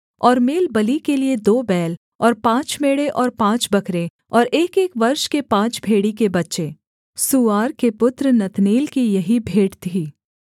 और मेलबलि के लिये दो बैल और पाँच मेढ़े और पाँच बकरे और एकएक वर्ष के पाँच भेड़ी के बच्चे सूआर के पुत्र नतनेल की यही भेंट थी